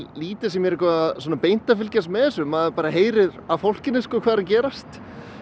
lítið sem ég er eitthvað beint að fylgjast með þessu maður heyrir á fólkinu hvað er að gerast